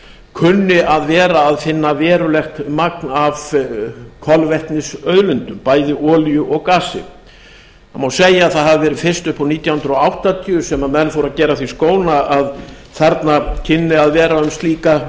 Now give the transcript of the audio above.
kunni að vera að finna verulegt magn af kolvetnisauðlindum bæði olíu og gasi það má segja að það hafi verið fyrst upp úr nítján hundruð áttatíu sem menn fóru að gera að því skóna að þarna kynni að vera um slíka